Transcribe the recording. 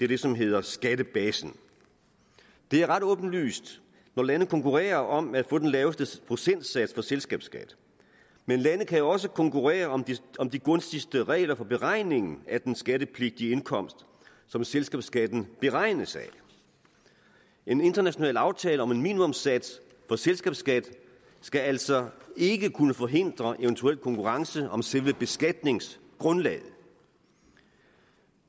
det som hedder skattebasen det er ret åbenlyst når lande konkurrerer om at få den laveste procentsats for selskabsskat men lande kan jo også konkurrere om de gunstigste regler for beregningen af den skattepligtige indkomst som selskabsskatten beregnes af en international aftale om en minimumssats for selskabsskat skal altså ikke kunne forhindre eventuel konkurrence om selve beskatningsgrundlaget